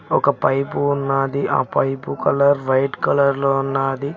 ఒక పైపు ఉన్నాది ఆ పైపు కలర్ వైట్ కలర్లో ఉన్నాది.